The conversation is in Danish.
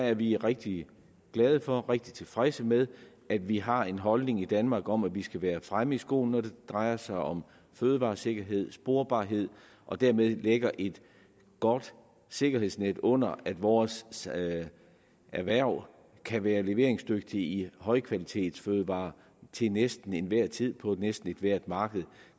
er vi rigtig glade for og rigtig tilfredse med at vi har en holdning i danmark om at vi skal være fremme i skoene når det drejer sig om fødevaresikkerhed sporbarhed og dermed lægge et godt sikkerhedsnet under at vores erhverv kan være leveringsdygtig i højkvalitetsfødevarer til næsten enhver tid på næsten ethvert marked